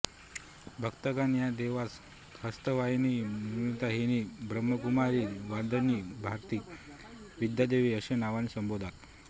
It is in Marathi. भक्तगण या देवीस हंसवाहिनीमयुरवाहिनी ब्रह्मकुमारी वाग्देवी भारती विद्यादेवी अशा नावाने संबोधतात